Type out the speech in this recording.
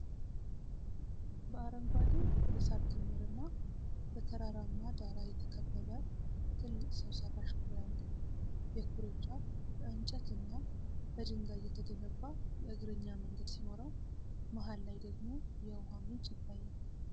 በአረንጓዴ የሣር ክምር እና በተራራማ ዳራ የተከበበ ትልቅ ሰው ሰራሽ ኩሬ አለ። የኩሬው ጫፍ በእንጨት እና በድንጋይ የተገነባ የእግረኛ መንገድ ሲኖረው፣ መሀል ላይ ደግሞ የውኃ ምንጭ ይታያል።